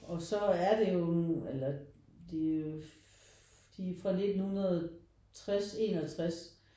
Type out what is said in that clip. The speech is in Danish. Og så er det jo nu eller det er de er fra 1960 61